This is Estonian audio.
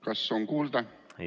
Kas on kuulda?